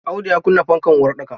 Audu ya kunna fankar uwar ɗaka.